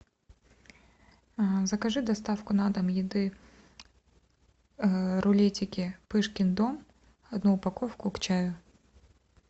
закажи доставку на дом еды рулетики пышкин дом одну упаковку к чаю